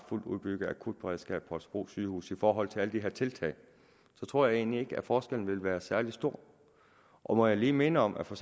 fuldt udbygget akutberedskab på holstebro sygehus i forhold til alle de her tiltag så tror jeg egentlig ikke at forskellen vil være særlig stor og må jeg lige minde om at for